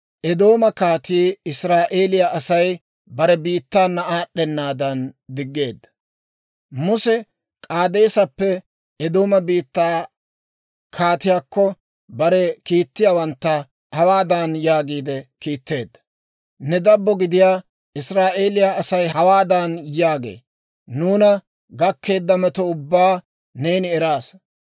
Muse K'aadeesappe Eedooma biittaa kaatiyaakko, bare kiitettiyaawantta hawaadan yaagiide kiitteedda; «Ne dabbo gidiyaa Israa'eeliyaa Asay hawaadan yaagee; ‹Nuuna gakkeedda metuwaa ubbaa neeni eraasa.